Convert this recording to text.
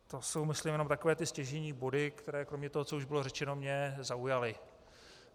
To jsou myslím jenom takové ty stěžejní body, které kromě toho, co už bylo řečeno, mě zaujaly.